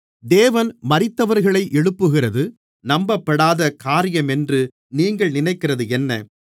தேவன் மரித்தவர்களை எழுப்புகிறது நம்பப்படாத காரியமென்று நீங்கள் நினைக்கிறதென்ன